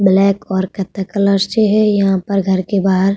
black और कत्थे colours है यहां पर घर के बाहर --